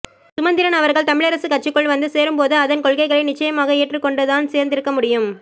சுமந்திரன் அவர்கள் தமிழரசுக் கட்சிக்குள் வந்து சேரும் போது அதன் கொள்கைகளை நிட்சயமாக ஏற்றுக் கொண்டுதான் சேர்ந்திருக்க முயும்